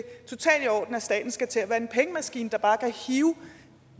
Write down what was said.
staten skal til at være en pengemaskine der bare kan hive